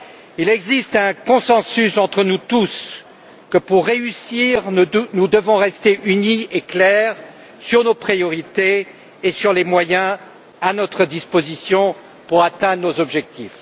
Il existe un consensus entre nous tous pour réussir, nous devons rester unis et clairs sur nos priorités et sur les moyens dont nous disposons pour atteindre nos objectifs.